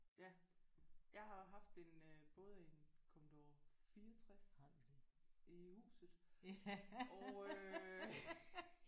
Ja jeg har jo haft en øh både en Commodore 64 i huset og øh